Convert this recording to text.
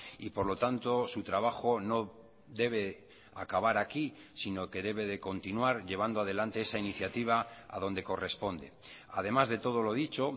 y por lo tanto su trabajo no debe acabar aquí sino que debe de continuar llevando adelante esa iniciativa a donde corresponde además de todo lo dicho